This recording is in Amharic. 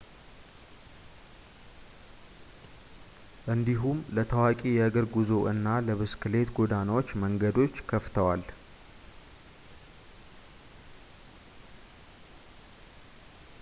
እንዲሁም ለታዋቂ የእግር ጉዞ እና ለብስክሌት ጎዳናዎች መንገዶችን ከፍተዋል